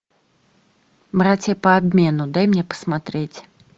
братья по обмену дай мне посмотреть